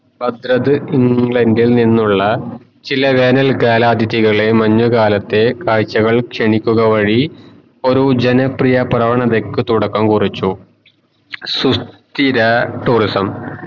ബദ്രഡ് ഇന്ഗ്ലാണ്ടിൽ നിന്നുള്ള ചില വേനൽകാല അതിഥികളെ മഞ്ഞുകാലത്തെ കാഴ്കൾക്കു ക്ഷണിക്കുക വഴി ഒരു ജന പ്രിയ പ്രവണതയ്ക് തുടക്കം കുറിച്ച് സുസ്ഥിര tourism